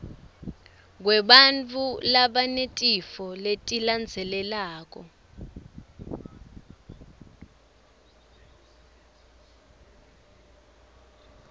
kwebantfu labanetifo letilandzelandzelako